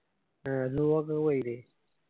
ആ